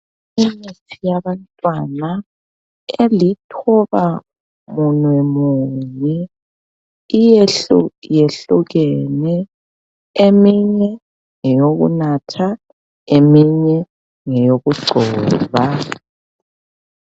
Imithi yabantwana elithobamunwe munye iyehluyehlukene eminye ngeyokunatha eminye ngeyokugcoba.